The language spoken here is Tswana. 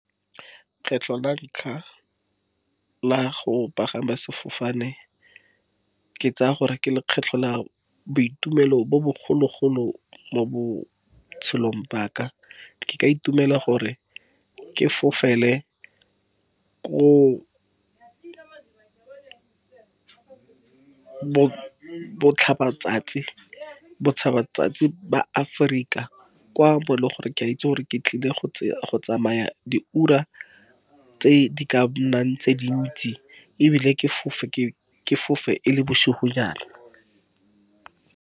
Kgetlho la ntlha la go pagama sefofane, ke tsaya gore ke lekgetlho la boitumelo bo bogolo-golo mo botshelong ba ka, ke ka itumela gore ke fofele ko botlhaba tsatsi, botlhaba tsatsi ba Aforika kwa bo le gore ke a itse gore ke tlile go tsamaya di ura tse di ka nnang tse dintsi, ebile ke fofe e le bosigonyana.